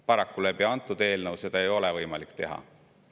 Paraku ei ole antud eelnõuga seda võimalik teha.